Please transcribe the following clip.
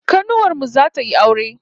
Kanuwar mu zata yi aure